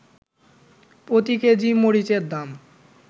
প্রতি কেজি মরিচের দাম